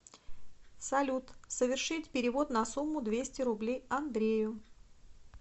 салют совершить перевод на сумму двести рублей андрею